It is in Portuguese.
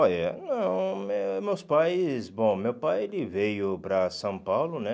Olha, meus pais... Bom, meu pai ele veio para São Paulo, né?